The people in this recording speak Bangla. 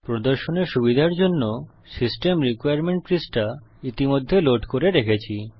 প্রদর্শনে সুবিধার জন্য সিস্টেম রিক্বারমেন্ট পৃষ্টা ইতিমধ্যে লোড করে রেখেছি